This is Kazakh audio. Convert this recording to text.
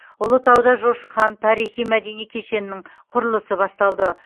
ұлытауда жошы хан тарихи мәдени кешенінің құрылысы басталды